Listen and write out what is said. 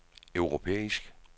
europæisk